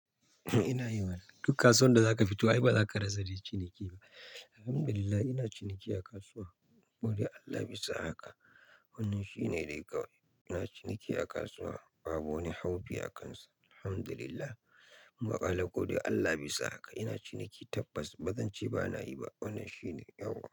Ina yi mana. Duk kasuwan da za ka fito ai ba za ka rasa dai ciniki ba. Alhamdulillah ina ciniki a kasuwa. Godiya Allah bisa haka. Wannan shine dai kawai. Ina ciniki a kasuwa babu wani haufi a kansa. Alhamdulillah. Muna ƙala godewa Allah bisa haka. Ina ciniki tabbas bazance ba na yi ba. Wannan shine yauwa.